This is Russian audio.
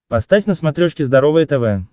поставь на смотрешке здоровое тв